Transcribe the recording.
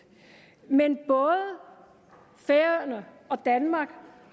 men både færøerne og danmark